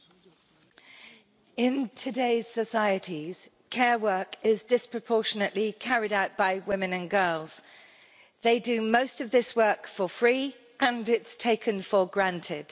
Mr President, in today's societies, care work is disproportionately carried out by women and girls. They do most of this work for free, and it's taken for granted.